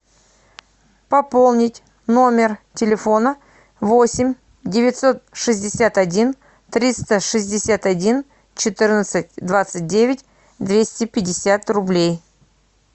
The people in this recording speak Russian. пополнить номер телефона восемь девятьсот шестьдесят один триста шестьдесят один четырнадцать двадцать девять двести пятьдесят рублей